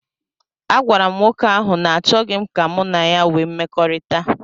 Agwara m nwoke ahụ na achọghị m ka mụ na ya wee mmekọrịta